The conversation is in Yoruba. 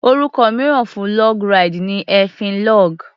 Orúkọ mìíràn fún log ride ni èéfín log.